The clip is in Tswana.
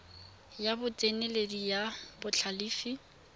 ya botseneledi le ya botlhalefi